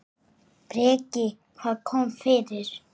Breki: Hvað kom fyrir?